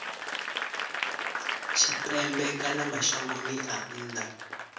tshipembe kana mashangoni a nnḓa